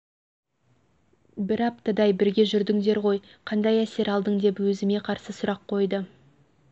бір аптадай бірге жүрдіңдер ғой қандай әсер алдың деп өзіме қарсы сұрақ қойды